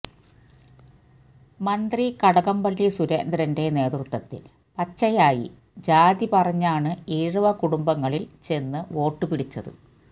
മന്ത്രി കടകംപള്ളി സുരേന്ദ്രന്റെ നേതൃത്വത്തില് പച്ചയായി ജാതി പറഞ്ഞാണ് ഈഴവ കുടുംബങ്ങളില് ചെന്ന് വോട്ട് പിടിച്ചത്